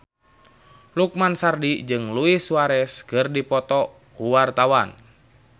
Lukman Sardi jeung Luis Suarez keur dipoto ku wartawan